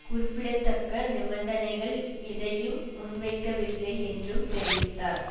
குறிப்பிடத்தக்க நிபந்தனைகள் எதையும் முன்வைக்கவில்லை என்றும் தெரிவித்தார்